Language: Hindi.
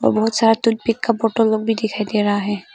बहुत सारा लोग भी दिखाई दे रहा है।